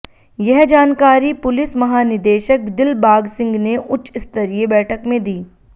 यह जानकारी पुलिस महानिदेशक दिलबाग सिंह ने उच्च स्तरीय बैठक में दी